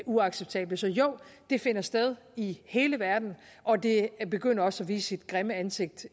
uacceptable så jo det finder sted i hele verden og det begynder også at vise sit grimme ansigt